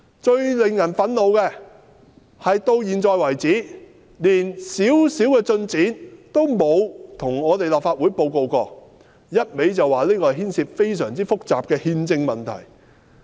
最令人憤怒的是，到目前為止，連些微進展也沒有向立法會報告過，一味說這事牽涉非常複雜的憲制問題。